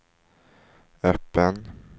öppen